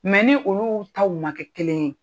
Mɛ ni olu taw ma kɛ kelen ye.